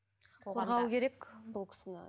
қорғау керек ол кісіні